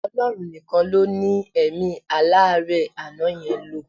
Ọlọ́run nìkan ló ní èmí aláárẹ̀ àná yẹn lò.